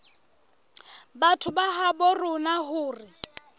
batho ba habo rona hore